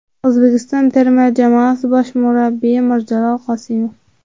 O‘zbekiston terma jamoasi bosh murabbiyi Mirjalol Qosimov.